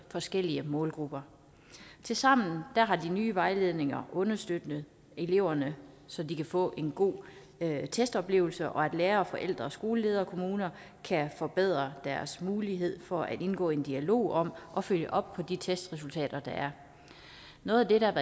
forskellige målgrupper tilsammen har de nye vejledninger understøttet eleverne så de kan få en god testoplevelse og lærere forældre skoleledere og kommuner kan forbedre deres mulighed for at indgå i en dialog om at følge op på de testresultater der er noget af det der